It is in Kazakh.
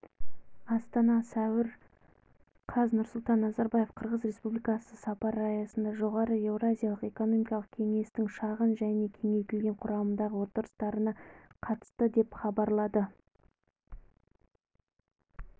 астана сәуір қаз нұрсұлтан назарбаев қырғыз республикасына сапары аясында жоғары еуразиялық экономикалық кеңестің шағын және кеңейтілген құрамдағы отырыстарына қатысты деп хабарлады